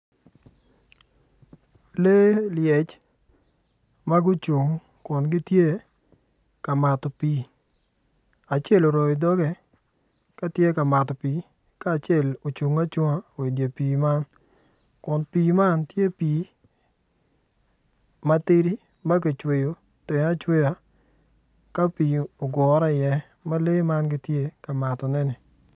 Lee lyec ma gucung kun gitye ka mato pii acel moroyo doge ka tye ka mato pii ka acel ocungo acunga idye pii man kun pii man tye pii matidi ma kicweyo tenge acweya ka pii ogure iye ma lee man gitye ka matoneni.